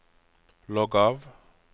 logg av